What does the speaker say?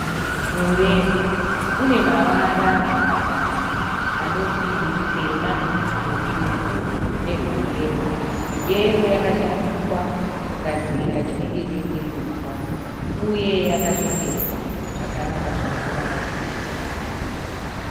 Mureza une mavara matatu anoti rutema, rutsvuku nerweyero, yero yakashandiswa kugadzira chinenge dendenedzwa uye yakashongedzwa zvakanaka zvinotora maziso.